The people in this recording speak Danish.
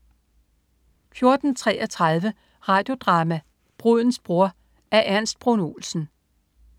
14.33 Radio Drama: Brudens bror. Af Ernst Bruun Olsen